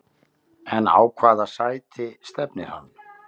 En á hvaða sæti stefnir hann?